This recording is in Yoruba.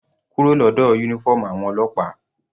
Kúrò lọ́dọ̀ uniform àwọn ọlọ́pàá.